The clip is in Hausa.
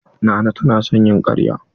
Nana ta na son yin karya.